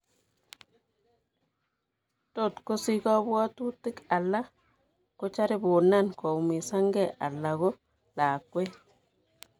Tot kosich kabwatutik ala kocharibunan koumisankee ala ko lakweet